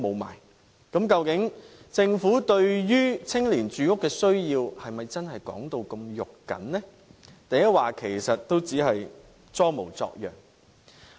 那麼，究竟政府對於青年的住屋需要，是否真如其所說般"肉緊"，抑或只是在裝模作樣呢？